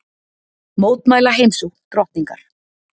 Mótmæla heimsókn drottningar